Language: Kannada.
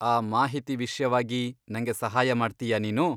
ಆ ಮಾಹಿತಿ ವಿಷ್ಯವಾಗಿ ನಂಗೆ ಸಹಾಯ ಮಾಡ್ತೀಯಾ ನೀನು?